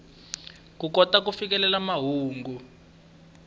ku kota ku fikelela mahungu